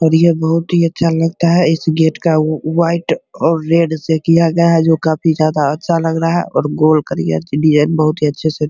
और ये बहुत ही अच्छा लगता है इस गेट का व व्हाइट और रेड से किया गया है जो काफ़ी ज्यादा लग रहा है और गोल करिया से डिजाइन बहुत ही अच्छे से --